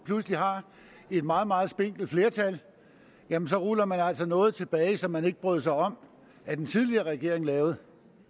pludselig har et meget meget spinkelt flertal så ruller man altså noget tilbage som man ikke brød sig om at den tidligere regering lavede